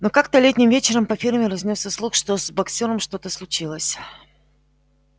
но как-то летним вечером по ферме разнёсся слух что с боксёром что-то случилось